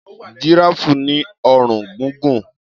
Jìráàfù ní ọrùn gúngùn.